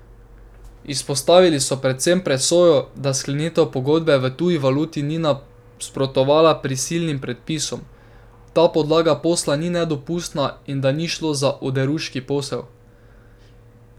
Izpostavili so predvsem presojo, da sklenitev pogodbe v tuji valuti ni nasprotovala prisilnim predpisom, da podlaga posla ni nedopustna in da ni šlo za oderuški posel.